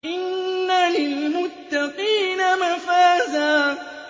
إِنَّ لِلْمُتَّقِينَ مَفَازًا